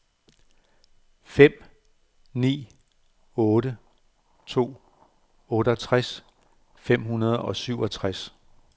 fem ni otte to otteogtres fem hundrede og syvogtres